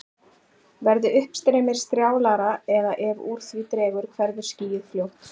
Verði uppstreymið strjálara eða ef úr því dregur hverfur skýið fljótt.